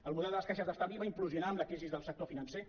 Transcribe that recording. el model de les caixes d’estalvi va implosionar amb la crisi del sector financer